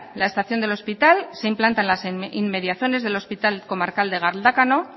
la estación del hospital se implanta en las inmediaciones del hospital comarcal de galdácano